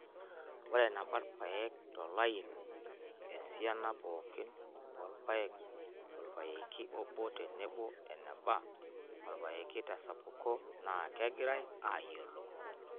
Ore eneba ilpayek tolaini, esiana pooki oolpayek tolpayeki obo tenebo eneba olpyeki tesapuko naa kegirai aayiolou.